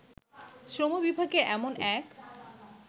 শ্রমবিভাগের এমন এক